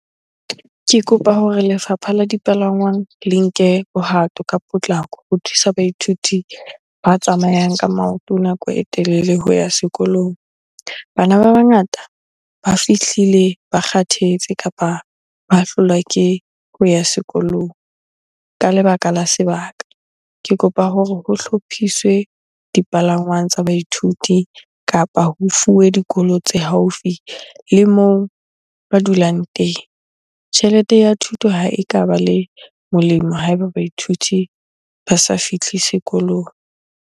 Ke kopa hore lefapha la dipalangwang le nke bohato ka potlako ho thusa baithuti ba tsamayang ka maoto nako e telele ho ya sekolong. Bana ba bangata ba fihlile ba kgathetse kapa ba hlolwa ke ho ya sekolong ka lebaka la sebaka. Ke kopa hore ho hlophiswe dipalangwang tsa baithuti kapa ho fuwe dikolo tse haufi le moo ba dulang teng. Tjhelete ya thuto ha e ka ba le molemo ha eba baithuti ba sa fihle sekolong.